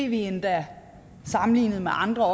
vi endda sammenlignet med andre